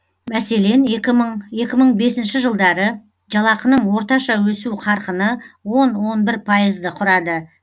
мәселен екі мың екі мың бесінші жылдары жалақының орташа өсу қарқыны он он бір пайызды құрады